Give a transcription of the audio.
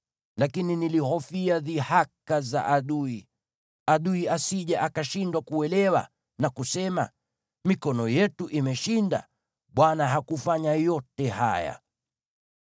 Lakini nilihofia dhihaka za adui, adui asije akashindwa kuelewa, na kusema, ‘Mikono yetu imeshinda; Bwana hakufanya yote haya.’ ”